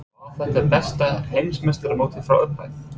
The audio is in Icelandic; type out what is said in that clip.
En var þetta besta Heimsmeistaramótið frá upphafi?